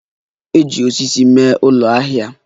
Eji osisi mee ụlọ ahịa ya.